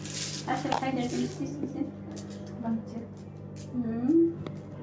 әсел қайда жұмыс істейсің сен банкте ммм